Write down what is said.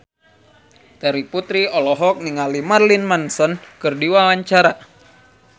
Terry Putri olohok ningali Marilyn Manson keur diwawancara